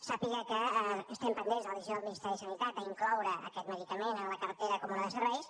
sàpiga que estem pendents de la decisió del ministeri de sanitat d’incloure aquest medicament a la cartera comuna de serveis